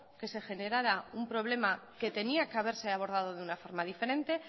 que se generara un problema que tenía que haberse abordado de una forma diferente